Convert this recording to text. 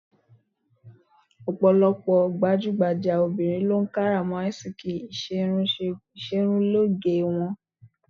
Ọ̀pọ̀lọpọ̀ gbajúgbajà obìnrin lo ń kárà mọ́ ásìkí ìṣerunlóge wọn.